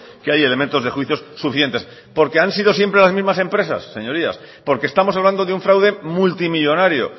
que hay elementos de juicios suficientes porque han sido siempre las mismas empresas señorías porque estamos hablando de un fraude multimillónario